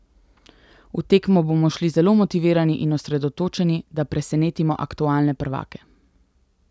V tekmo bomo šli zelo motivirani in osredotočeni, da presenetimo aktualne prvake.